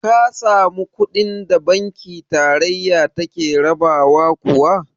Ka samu kuɗin da banki tarayya take rabawa kuwa?